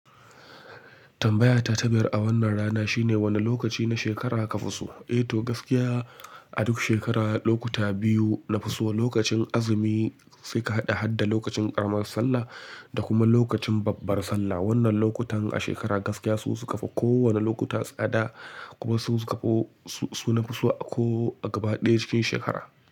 Tambaya ta tabiyar a wannan rana shine wane lokaci na shekara ka fi so? Eh to gaskiya a duk shekara lokuta biyu na fi so, lokacin azumi sai ka haɗa-haɗa lokacin ƙaramar sallah da kuma lokacin babbar sallah. Wannan lokutan a shekara gaskiya su su kafa kowane lokuta tsada kuma su su kafa su na fi so a ko a gaba ɗaya cikin shekara.